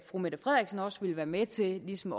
fru mette frederiksen også ville være med til ligesom